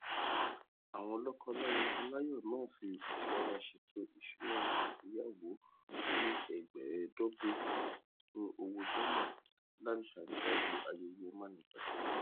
àwọn lọkọláya aláyọ náà fi ìsọra ṣètò ìṣúná ìgbéyawó oní ẹgbàáẹẹdógún owó dọlà láti ṣàrídájú ayẹyẹ mánigbàgbé